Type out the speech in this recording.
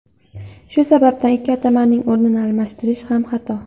Shu sababdan ikki atamaning o‘rnini almashtirish ham xato.